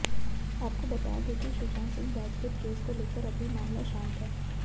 आपको बता दें कि सुशांत सिंह राजपूत केस को लेकर अभी मामला शांत है